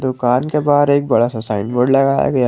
दुकान के बाहर एक बड़ा सा साइड बोर्ड लगाया गया--